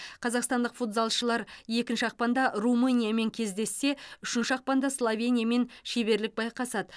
қазақстадық футзалшылар екінші ақпанда румыниямен кездессе үшінші ақпанда словениямен шеберлік байқасады